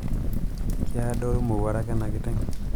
kiadoru mowarak ena kiteng